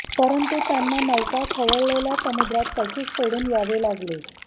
परंतु त्यांना नौका खवळलेल्या समुद्रात तशीच सोडून यावे लागले